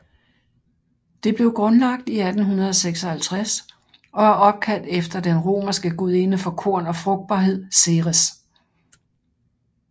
Det blev grundlagt i 1856 og er opkaldt efter den romerske gudinde for korn og frugtbarhed Ceres